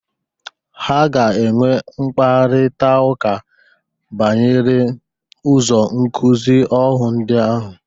Ha ga-enwe mkparịtaụka banyere ụzọ nkụzị ọhụ ndị ahụ.